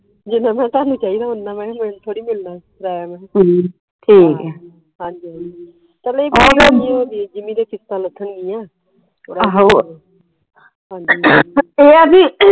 ਜਿਨ੍ਹਾਂ ਮੈ ਕਿਹਾ ਤੁਹਾਨੂੰ ਚਾਹੀਦਾ ਓਹਨਾ ਮੈ ਕਿਹਾ ਮੈਨੂੰ ਥੋੜੀ ਮਿਲਣਾ ਏ ਕਿਰਾਇਆ ਮੈ ਕਿਹਾ ਹਾਂਜੀ ਹਾਂਜੀ ਉਹ ਜਿੰਮੀ ਦੀਆ ਫੀਸਾਂ ਲੱਥਣ ਗੀਆ ਹਾਂਜੀ